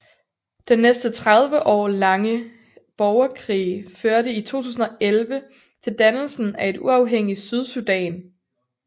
Den næsten 30 år lange borgerkrig førte i 2011 til dannelsen af et uafhængigt Sydsudan